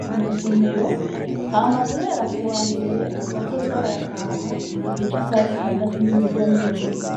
ku masomero, hama guhera ku wa mbere bazoza barataha igihe c’isaha zitandatu n’iminota mirongo ibiri.